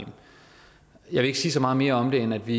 jeg vil ikke sige så meget mere om det end at vi